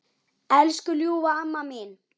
Elsku ljúfa amma mín.